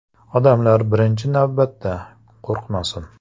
“Odamlar, birinchi navbatda, qo‘rqmasin.